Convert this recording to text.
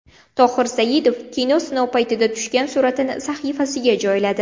Tohir Saidov kino sinov paytida tushgan suratini sahifasiga joyladi.